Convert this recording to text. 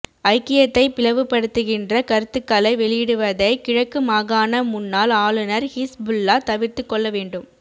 ஐக்கியத்தை பிளவுபடுத்துகின்ற கருத்துக்களை வெளியிடுவதை கிழக்கு மாகாண முன்னாள் ஆளுநர் ஹிஸ் புல்லா தவிர்த்துக்கொள்ள வேண்டும்